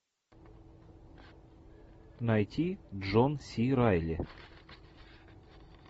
найти джон си райли